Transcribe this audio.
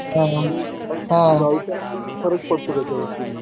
फरक पडतो त्याच्यावरती मग